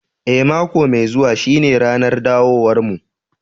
Eh, mako mai zuwa shine ranar dawowarmu